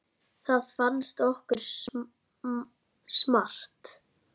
Það fannst okkur smart.